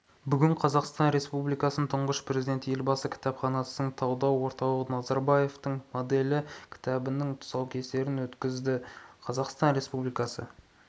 бүгін қазақстан республикасының тұңғыш президенті елбасының кітапханасының талдау орталығы назарбаевтың моделі кітабының тұсаукесерін өткізді қазақстан республикасы